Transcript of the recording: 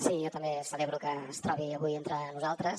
sí jo també celebro que es trobi avui entre nosaltres